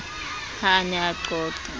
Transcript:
ha a ne a qoqa